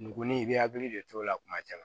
Ngonin i bɛ hakili de t'o la kuma caman